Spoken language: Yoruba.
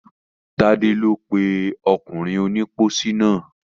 Tádé ni ó pè ọkùnrin onípósí náà.